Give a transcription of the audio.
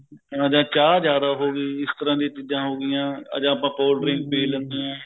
ਜਾ ਚਾਹ ਜਿਆਦਾ ਹੋ ਗਈ ਇਸ ਤਰ੍ਹਾਂ ਦੀ ਚੀਜਾਂ ਹੋਗਿਆ ਜਾ ਆਪਾਂ cold drink ਪੀ ਲੇਂਦੇ ਆ